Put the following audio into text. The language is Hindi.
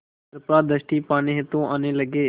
कृपा दृष्टि पाने हेतु आने लगे